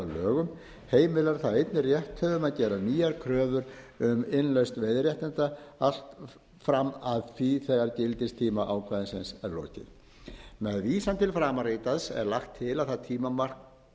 lögum heimilar það einnig rétthöfum að gera nýjar kröfur um innlausn veiðiréttinda allt fram að því þegar gildistíma ákvæðisins er lokið með vísan til framanritaðs er lagt til að það tímamark